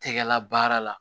Tɛgɛla baara la